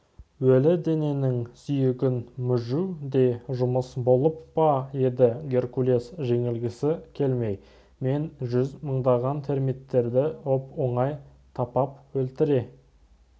өлі дененің сүйегін мүжу де жұмыс болып па деді геркулес жеңілгісі келмей мен жүз мыңдаған термиттеріңді оп-оңай тапап өлтіре